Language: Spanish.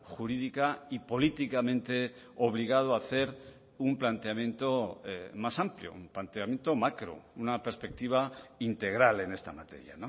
jurídica y políticamente obligado a hacer un planteamiento más amplio un planteamiento macro una perspectiva integral en esta materia